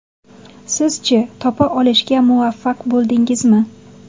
Siz-chi, topa olishga muvaffaq bo‘ldingizmi?